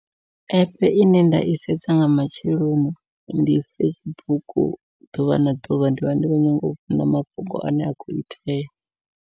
Epe ine nda i sedza nga matsheloni ndi Facebook, ḓuvha na ḓuvha ndi vha ndi khou nyanga u vhona mafhungo ane a khou itea.